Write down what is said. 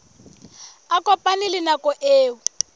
a kopane le nako eo